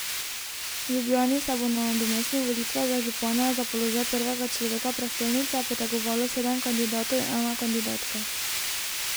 V Ljubljani se bo na nadomestnih volitvah za župane za položaj prvega človeka prestolnice potegovalo sedem kandidatov in ena kandidatka.